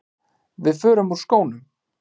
Við förum úr skónum.